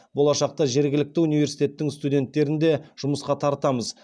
болашақта жергілікті университеттің студенттерін де жұмысқа тартамыз